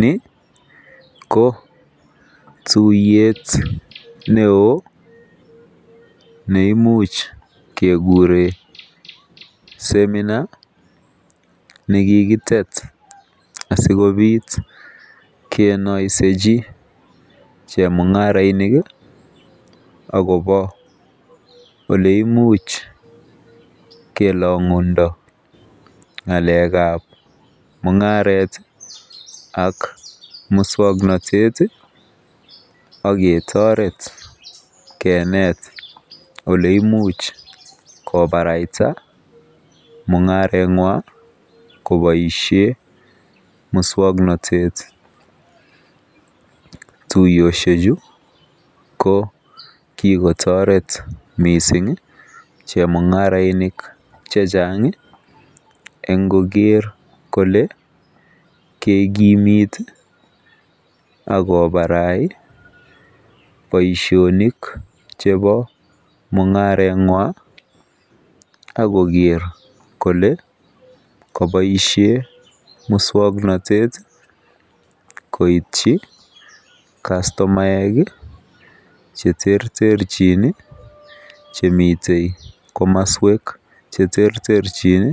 Ni ko tuiyet neon neimuche kekuren semina nekikitet asikobitbkenaisechi chemungarainik akobo oleimuch kelangundo ngalek ab mungaret ak muswaknatet aketaret kenet oleimuch kobaraita mungaret ngung kobaishen muswaknatet tuyoshek Chu kokikotaret mising chemungarainik chechang en Koger Kole kekimit akobarai Baishonik chebomungarenwan agoger Kole kebaishen muswaknatet koityin kastomaek cheterterchin Chemiten kamaswek cheterterchin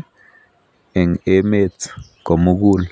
en emet komugul